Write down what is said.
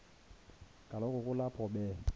kaloku kulapho be